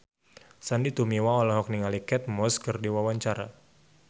Sandy Tumiwa olohok ningali Kate Moss keur diwawancara